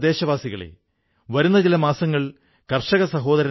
സുഹൃത്തുക്കളേ നമ്മുടെ രാജ്യത്ത് എത്രയോ ആയോധനകലകളുണ്ട്